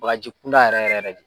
Baji kunda yɛrɛ yɛrɛ